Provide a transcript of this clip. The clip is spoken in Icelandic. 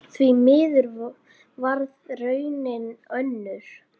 Því miður varð raunin önnur.